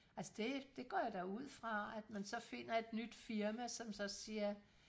altså det det går jeg da ud fra at man så finder et nyt firma som så siger